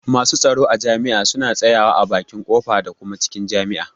Masu tsaro a jami'a suna tsaya wa a bakin ƙofa da kuma cikin jami'a.